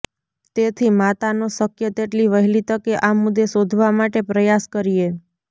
તેથી માતાનો શક્ય તેટલી વહેલી તકે આ મુદ્દે શોધવા માટે પ્રયાસ કરીએ